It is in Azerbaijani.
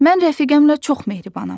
Mən rəfiqəmlə çox mehribanam.